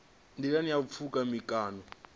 nḓilani ha u pfuka mikano